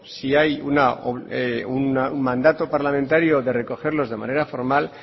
si hay un mandato parlamentario de recogerlos de manera formal